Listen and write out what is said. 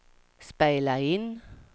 spela in